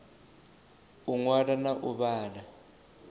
u ṅwala na u vhala